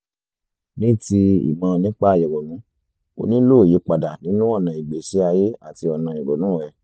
ní ti ìmọ̀ nípa ìrònú o nílò ìyípadà nínú ọ̀nà ìgbésí ayé àti ọ̀nà ìrònú rẹ